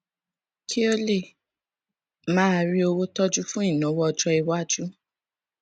kí ó lè máa rí owó tọjú fún ìnáwó ọjọiwájú